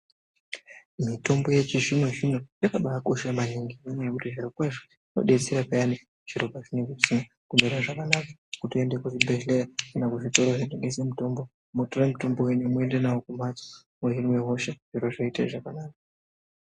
Mitombo yechizvino-zvino yakabakosha maningi nenyaya yekuti zviro kwazvo zvinobetsera payani zviro pazvinonga zvisina kumira zvakanaka. Kutoende kuzvibhedhleya kana kuzvitoro zvinotengese mitombo motora mutombo venyu moende navo kumhatso mohinwe hosha zviro zvoite zvakanaka.